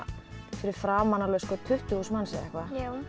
fyrir framan alveg tuttugu þúsund manns eða eitthvað